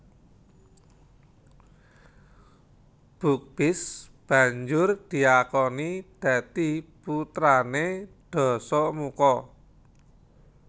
Bukbis banjur diakoni dadi putrané Dasamuka